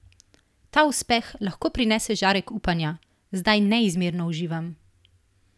Ta uspeh lahko prinese žarek upanja: "Zdaj neizmerno uživam.